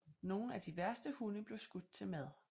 Nogle af de værste hunde blev skudt til mad